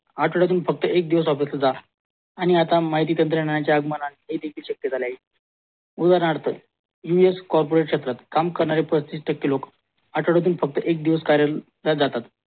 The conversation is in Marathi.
आठ्वल्यातून फक्त ऐक दिवस office सुद्धा आणि आता माहितीतंत्रानंच शक्य झाला आहे उदाहरणार्थ USCorporate Sector काम करणारे पंचवीस टक्के लोक आठवल्यातून फक्त ऐक कार्यालयला जातात